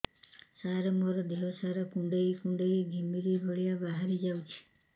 ସାର ମୋର ଦିହ ସାରା କୁଣ୍ଡେଇ କୁଣ୍ଡେଇ ଘିମିରି ଭଳିଆ ବାହାରି ଯାଉଛି